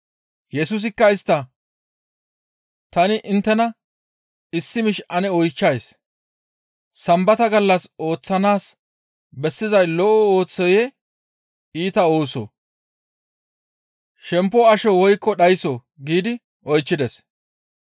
Yesusikka istta, «Ta inttena issi miish ane oychchays; Sambata gallas ooththanaas bessizay lo7o oosoyee? Iita oosoo? Shempo asho woykko dhayssoo?» giidi oychchides.